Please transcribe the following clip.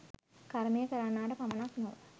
කර්මය කරන්නාට පමණක් නොව